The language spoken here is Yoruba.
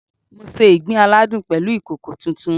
Mo se ìgbín aládùn pẹ̀lú ìkòkò tuntun